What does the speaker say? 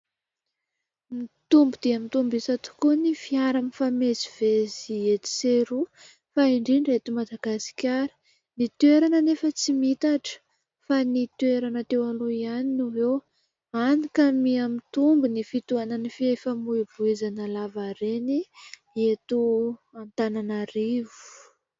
Mitombo dia mitombo isa tokoa ny fiara mifamezivezy etsy sy eroa fa indrindra eto Madagasikara, ny toerana anefa tsy mihitatra fa ny toerana teo aloha ihany no eo hany ka miamitombo ny fitohanan'ny fifamoivoizana lavareny eto Antananarivo.